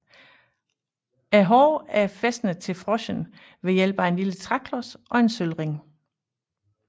Hårene er fæstnet til froschen ved hjælp af en lille træklods og en sølvring